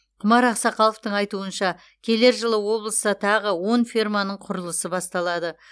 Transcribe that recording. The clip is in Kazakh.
құмар ақсақаловтың айтуынша келер жылы облыста тағы он ферманың құрылысы басталады